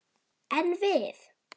En við!